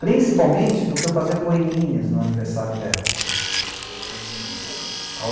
Principalmente porque eu fazia poeminhas no aniversário delas. Hmmm